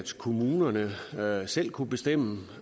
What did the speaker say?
så kommunerne selv kunne bestemme